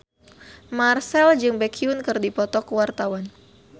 Marchell jeung Baekhyun keur dipoto ku wartawan